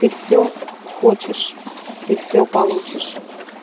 ты всё хочешь ты всё получишь